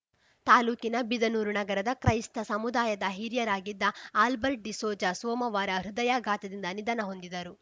ತಾಲೂಕಿನ ಬಿದನೂರು ನಗರದ ಕ್ರೈಸ್ತ ಸಮುದಾಯದ ಹಿರಿಯರಾಗಿದ್ದ ಆಲ್ಬರ್ಟ್‌ ಡಿಸೋಜ ಸೋಮವಾರ ಹೃದಯಾಘಾತದಿಂದ ನಿಧನ ಹೊಂದಿದರು